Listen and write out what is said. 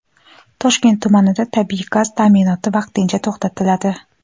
Toshkent tumanida tabiiy gaz ta’minoti vaqtincha to‘xtatiladi.